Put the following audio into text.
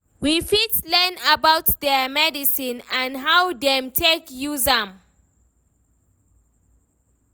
We fit learn about their medicine and how dem take use am